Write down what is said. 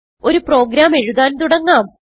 ഒരു പ്രോഗ്രാം എഴുതാൻ തുടങ്ങാം